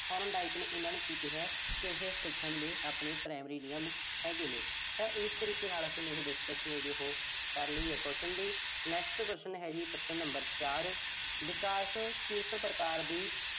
Thorndike ਆਪਣੇ primary ਨਿਯਮ ਹੈਗੇ ਨੇ। ਤਾਂ ਇਸ ਤਰੀਕੇ ਦੇ ਨਾਲ ਅਸੀਂ ਜਿਹੜੀ discussion ਹੈ, ਉਹੋ ਕਰ ਲਈ ਐ ਪ੍ਰਸ਼ਨ ਦੀ। next ਪ੍ਰਸ਼ਨ ਹੈ ਜੀ ਪ੍ਰਸ਼ਨ number ਚਾਰ